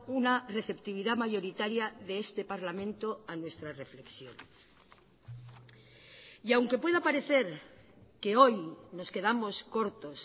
una receptividad mayoritaria de este parlamento a nuestra reflexión y aunque pueda parecer que hoy nos quedamos cortos